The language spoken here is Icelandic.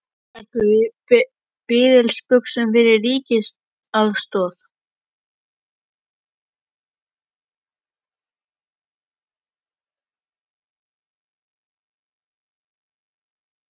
Ert þú á biðilsbuxunum fyrir ríkisaðstoð?